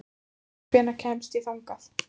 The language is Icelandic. Sigþóra, hvernig kemst ég þangað?